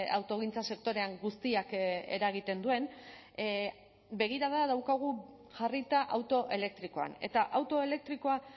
autogintza sektorean guztiak eragiten duen begirada daukagu jarrita auto elektrikoan eta auto elektrikoa